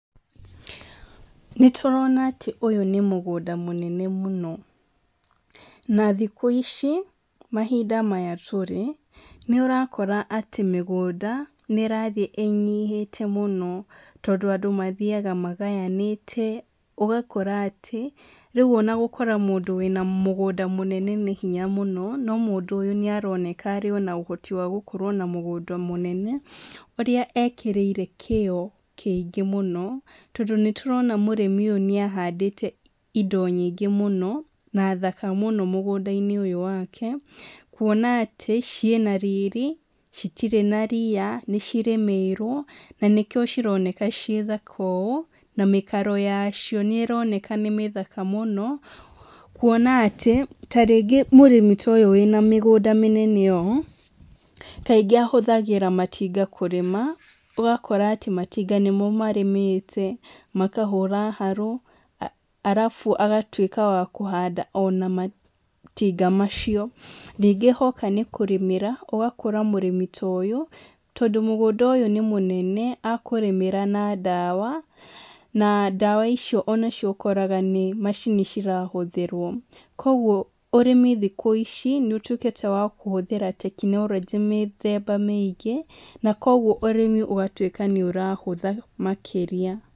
Nĩtũrona atĩ ũyũ nĩ mũgũnda mũnene mũno, na thikú ici, mahinda maya tũrĩ, nĩũrakora atĩ mĩgũnda, nĩrathiĩ ĩnyihĩte mũno tondũ andũ mathiaga magayanĩte ũgakora atĩ rĩu ona gũkora mũndũ wĩna mũgũnda mũnene nĩ hinya mũno no mũndũ ũyũ nĩaroneka arĩ ona ũhoti wa gũkorwo na múgũnda mũnene, ũrĩa ekĩrĩire kĩo kĩingĩ mũno, tondũ nĩtũrona mũrĩmi ũyũ nĩahandĩte indo nyingĩ mũno, na thaka mũno mũgũnda-inĩ ũyũ wake, kuona atĩ ciĩna riri, citirĩ na ria, nĩcirĩmĩirwo, na nĩkĩo cironeka ciĩ thaka ũ, na mĩkaro yacio nĩroneka nĩ mĩthaka mũno, kuona atí, ta rĩngĩ mũrĩmi ta ũyũ wĩna mĩgũnda mĩnene ũũ, kaingí ahũthagĩra matinga kũrĩma, ũgakora atĩ matinga nĩmo marĩmĩte, makahũra haru, arabu agatwĩka wa kũhanda ona matinga macio, ningĩ hoka nĩ kũrĩmĩra, ũgakora mũrĩmi ta úyũ, tondũ mũgũnda ũyũ nĩ mũnene, akũrĩmĩra na ndawa, na ndawa icio nício ũkoraga nĩ macini cirahũthĩrwo, koguo ũrĩmi thikũ ici nĩũtwíkĩte wa kũhũthĩra tekinoronjĩ mĩthemba mĩingĩ, na koguo ũrĩmi ũgatwĩka nĩũrahũtha makĩria.